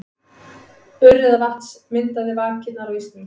Urriðavatns myndaði vakirnar á ísnum.